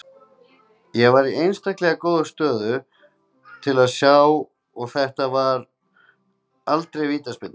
Ég var í einstaklegra góðri stöðu til að sjá þetta og þetta var aldrei vítaspyrna